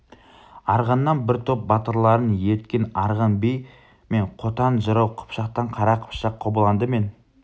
арғыннан бір топ батырларын ерткен арғын би мен қотан жырау қыпшақтан қара қыпшақ қобыланды мен